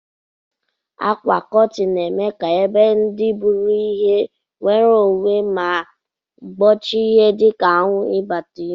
Akwa kọtin na eme ka ebe ndi buru ihe nwere onwe ma gbochie ihe dika anwu ibata na ime.